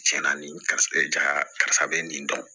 Tiɲɛna nin karisa bɛ nin dɔn